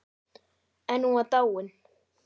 En hún var dáin.